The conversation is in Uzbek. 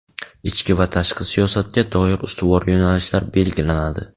ichki va tashqi siyosatga doir ustuvor yoʼnalishlar belgilanadi.